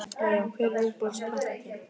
Já Já Hver er uppáhalds platan þín?